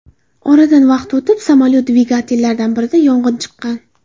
Oradan vaqt o‘tib, samolyot dvigatellaridan birida yong‘in chiqqan.